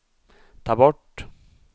ta bort